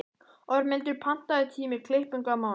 Ormhildur, pantaðu tíma í klippingu á mánudaginn.